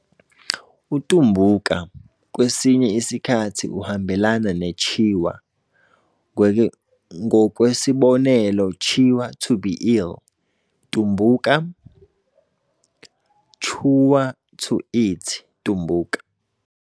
UTumbuka, kwesinye isikhathi uhambelana neChewa, ngokwesibonelo Chewa 'to be ill' Tumbuka, Chewa 'to eat' Tumbuka.